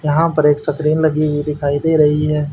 यहां पर एक सतरिन लगी हुई दिखाई दे रही है।